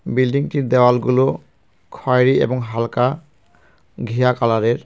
বিল্ডিংটির দেওয়ালগুলো খয়েরি এবং হালকা ঘিয়া কালারের.